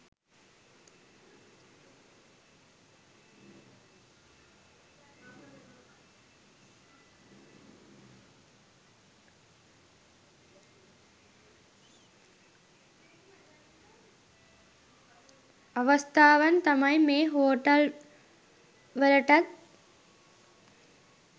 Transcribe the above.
අවස්ථාවන්තමයි මේ හෝටල් වලටත්